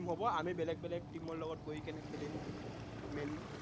হব, আমি বেলেগ বেলেগ team ৰ লগত গৈ কিনে খেলিম main